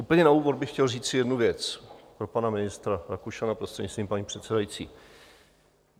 Úplně na úvod bych chtěl říct jednu věc pro pana ministra Rakušana prostřednictvím paní předsedající.